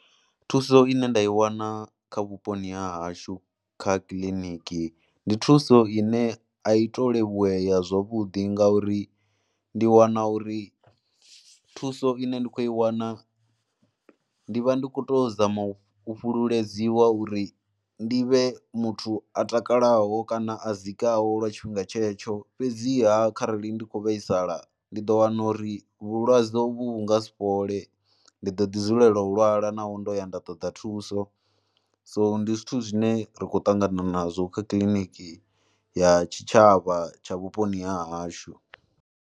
Thuso ine nda i wana kha vhuponi ha hashu kha kiḽiniki, ndi thuso ine a i tou levhulea zwavhuḓi ngauri ndi wana uri thuso ine ndi khou i wana ndi vha ndi khou tou zama u fhululedziwa uri ndi vhe muthu a takalaho kana a dzikaho lwa tshifhinga tshetsho. Fhedziha kharali ndi khou vhaisala ndi ḓo wana uri vhulwadze uvhu vhu nga si fhole. Ndi ḓo ḓidzulela u lwala naho ndo ya nda ṱoḓa thuso, so ndi zwithu zwine ri khou ṱangana nazwo kha kiliniki ya tshitshavha tsha vhuponi ha hashu.